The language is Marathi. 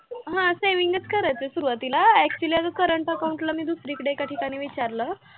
हा saving चं करायचं सुरुवातीला actually अगं current account ला मी दुसरीकडे एका ठिकाणी विचारलं.